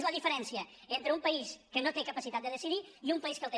és la diferència entre un país que no té capacitat de decidir i un país que en té